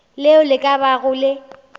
leo le ka bago le